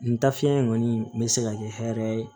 N ta fiɲɛ in kɔni bɛ se ka kɛ hɛrɛ ye